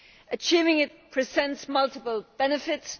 Achieving it presents multiple benefits.